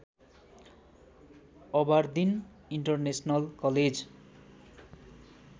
Aberdeen international college